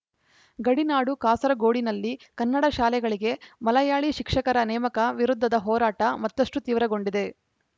ಗಡಿನಾಡು ಕಾಸರಗೋಡಿನಲ್ಲಿ ಕನ್ನಡಶಾಲೆಗಳಿಗೆ ಮಲಯಾಳಿ ಶಿಕ್ಷಕರ ನೇಮಕ ವಿರುದ್ಧದ ಹೋರಾಟ ಮತ್ತಷ್ಟುತೀವ್ರಗೊಂಡಿದೆ